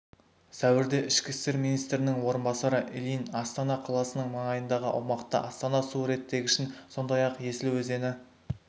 сәуірде ішкі істер министрінің орынбасары ильин астана қаласының маңайындағы аумақты астана су реттегішін сондай-ақ есіл өзені